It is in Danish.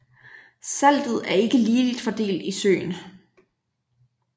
Saltet er ikke ligeligt fordelt i søen